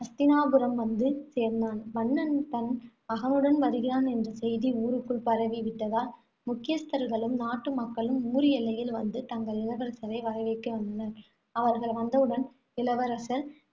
ஹஸ்தினாபுரம் வந்து சேர்ந்தான். மன்னன் தன் மகனுடன் வருகிறான் என்ற செய்தி ஊருக்குள் பரவி விட்டதால் முக்கியஸ்தர்களும், நாட்டு மக்களும் ஊர் எல்லையில் வந்து தங்கள் இளவரசரை வரவேற்க வந்தனர். அவர்கள் வந்தவுடன் இளவரசர்